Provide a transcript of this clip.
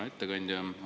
Hea ettekandja!